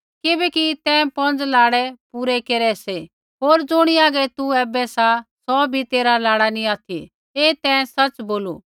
किबैकि तैं पौंज़ लाड़ै पूरै केरै सी होर ज़ुणी हागै तू ऐबै सा सौ भी तेरा लाड़ा नी ऑथि ऐ तैं सच़ै बोलू